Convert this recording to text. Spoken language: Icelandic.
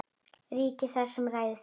Ríki það, sem ræður þú.